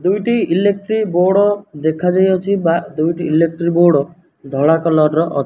ଦୁଇଟି electric board ଦେଖା ଯାଇଅଛି। ବା ଦୁଇଟି ଇଲେକ୍ଟ୍ରି ବୋଡ଼ ଧଳା କଲର ର ଅ --